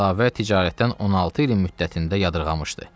Əlavə ticarətdən 16 ilin müddətində yadırğamışdı.